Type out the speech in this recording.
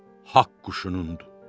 Haqq quşunundur.